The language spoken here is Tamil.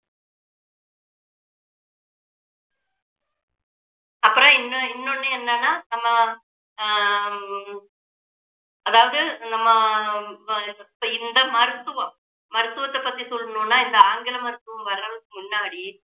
அப்புறம் இன்னு~ இன்னொன்னு என்னன்னா நம்ம ஆஹ் ஹம் அதாவது நம்ம அஹ் இப்போ இந்த மருத்துவம் மருத்துவத்தை பற்றி சொல்லணும்னா இந்த ஆங்கில மருத்துவம் வர்றதுக்கு முன்னாடி